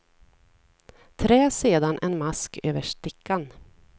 Trä sedan en mask över stickan.